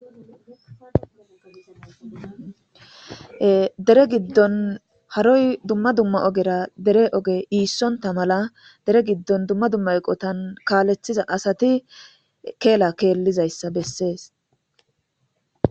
Hedere giddon haroy dumma dumma ogera dere oge iissonta mala dere giddon dumma dumma eqotan kaaleththiza asati keela keellizayssa bessees.